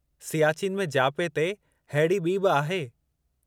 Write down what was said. सियाचीन में जियापे ते अहिड़ी ॿी बि आहे।